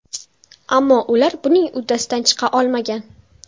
Ammo ular buning uddasidan chiqa olmagan.